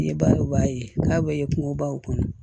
N'i b'a ye k'a bɛ kungobaw kɔnɔ